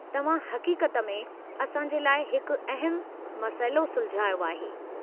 तव्हां हक़ीक़त में असां जे लाइ हिकु अहमु मसइलो सुलझायो आहे।